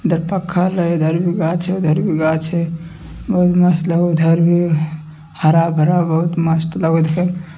इधर पक्का लगे इधर भी गाछ है उधर भी गाछ है बहुत मस्त लगे उधर भी हरा-भरा बहुत मस्त लगे है।